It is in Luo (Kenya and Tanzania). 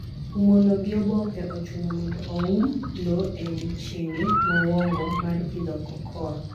Umo lowo gi oboke: Ochuno mondo o oum lo e odiechenge mowongo mar pidho cocoa.